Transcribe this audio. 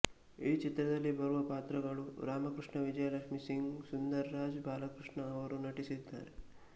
ಈ ಚಿತ್ರದಲ್ಲಿ ಬರುವ ಪಾತ್ರಗಳು ರಾಮಕೃಷ್ಣ ವಿಜಯಲಕ್ಷ್ಮಿಸಿಂಗ್ ಸುಂದರ್ ರಾಜ್ ಬಾಲಕೃಷ್ಣ ಅವರು ನಟಿಸಿದ್ದಾರೆ